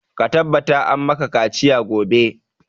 Ka tabbata an maka kaciya gobe!